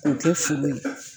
O kɛ foli.